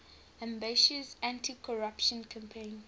ambitious anticorruption campaign